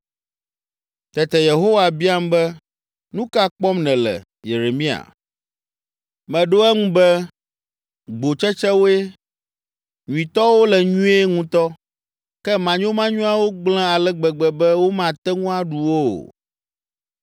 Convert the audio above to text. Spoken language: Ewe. Tete Yehowa biam be, “Nu ka kpɔm nèle, Yeremia?” Meɖo eŋu be, “Gbotsetsewoe. Nyuitɔwo le nyuie ŋutɔ, ke manyomanyoawo gblẽ ale gbegbe be womate ŋu aɖu wo o.”